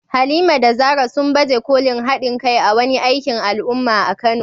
Halima da Zarah, sun baje kolin haɗin kai a wani aikin al’umma a Kano.